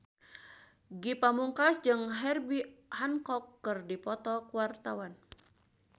Ge Pamungkas jeung Herbie Hancock keur dipoto ku wartawan